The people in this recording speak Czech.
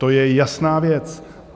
To je jasná věc.